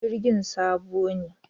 Jirgin sabo ne?